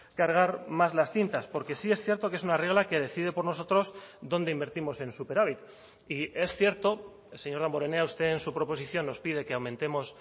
cargar más las tintas porque sí es cierto que es una regla que decide por nosotros dónde invertimos en superávit y es cierto señor damborenea usted en su proposición nos pide que aumentemos